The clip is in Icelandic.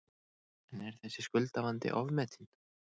En er þessi skuldavandi ofmetinn?